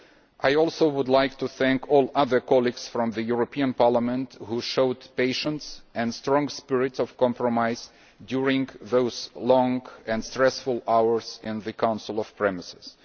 I also would like to thank all the other colleagues from the European Parliament who showed patience and a strong spirit of compromise during those long and stressful hours in the Council premises.